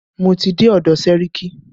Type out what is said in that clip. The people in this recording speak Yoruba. Mo ti dé ọ̀dọ̀ sẹ́ríkí.